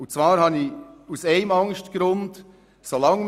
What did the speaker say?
Ich habe aus einem Grund Angst: